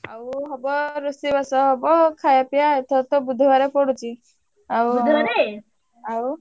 ଆଉ ହବ ରୋଷେଇବାସ ହବ ଖାଇବା ପିବା ଏଥର ତ ବୁଧବାରେ ପଡୁଛି ଆଉ।